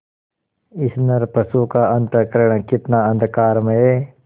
इस नरपशु का अंतःकरण कितना अंधकारमय